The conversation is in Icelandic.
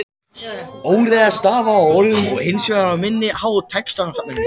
Óreiða stafa í orðum er hins vegar minna háð textasafninu.